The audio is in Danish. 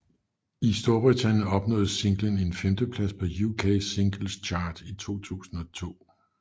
I Storbritannien opnåede singlen en femteplads på UK Singles Chart i 2002